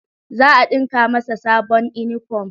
Za a ɗinka masa sabon inifom